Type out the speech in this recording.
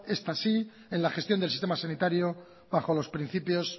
esta sí en la gestión del sistema sanitario bajo los principios